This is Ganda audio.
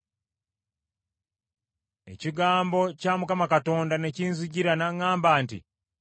Ekigambo kya Mukama Katonda ne kinzijira n’aŋŋamba nti,